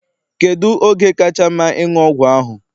Kedụ oge kacha mma ịṅụ ọgwụ ahụ?